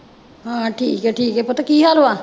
ਹਾਂ ਠੀਕ ਠੀਕ ਹੈ ਪੁੱਤ ਕੀ ਹਾਲ ਵਾ,